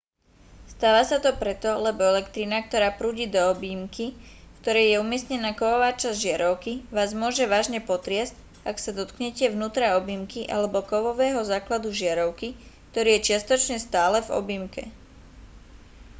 stáva sa to preto lebo elektrina ktorá prúdi do objímky v ktorej je umiestnená kovová časť žiarovky vás môže vážne potriasť ak sa dotknete vnútra objímky alebo kovového základu žiarovky ktorý je čiastočne stále v objímke